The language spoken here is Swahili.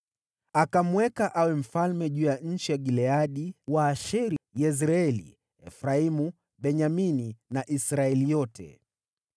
Akamweka awe mfalme juu ya nchi ya Gileadi, Waasheri, Yezreeli, Efraimu, Benyamini na Israeli yote.